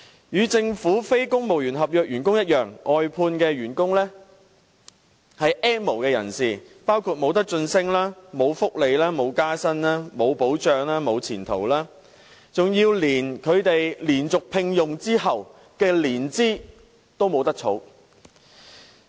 與政府非公務員合約員工一樣，外判員工是 "N 無"人士，包括無晉升、無福利、無加薪、無保障、無前途，甚至連他們連續獲得聘用的年期都不能計作年資。